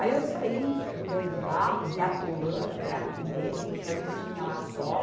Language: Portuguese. Aí eu saí do meio do barro, me atolando até aqui mesmo, porque era o que tinha lá só.